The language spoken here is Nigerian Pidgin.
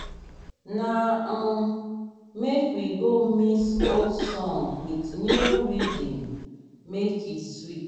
na um make we go mix old song with new rhythm make e sweet.